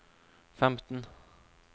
femten